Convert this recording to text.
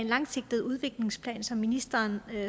langsigtede udviklingsplan som ministeren